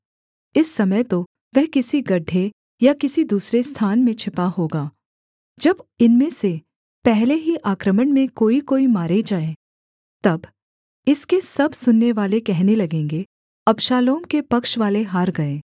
इस समय तो वह किसी गड्ढे या किसी दूसरे स्थान में छिपा होगा जब इनमें से पहले ही आक्रमण में कोईकोई मारे जाएँ तब इसके सब सुननेवाले कहने लगेंगे अबशालोम के पक्षवाले हार गए